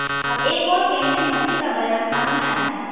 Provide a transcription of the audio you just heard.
अब एक और केंद्रीय मंत्री का बयान सामने आया है